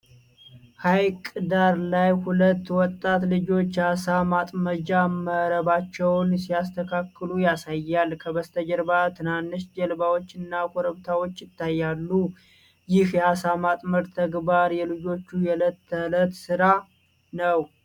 ሐይቅ ዳር ላይ ሁለት ወጣት ልጆች የአሣ ማጥመጃ መረባቸውን ሲያስተካክሉ ያሳያል። ከበስተጀርባ ትናንሽ ጀልባዎችና ኮረብታዎች ይታያሉ። ይህ የአሣ ማጥመድ ተግባር የልጆቹ የዕለት ተዕለት ሥራ ነው?